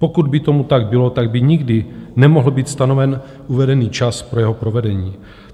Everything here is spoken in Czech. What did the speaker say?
Pokud by tomu tak bylo, tak by nikdy nemohl být stanoven uvedený čas pro jeho provedení.